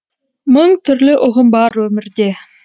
мың түрлі ұғым бар өмірде